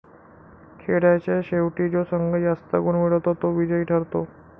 खेळाच्या शेवटी जो संघ जास्त गुण मिळवतो तो विजयी ठरतो.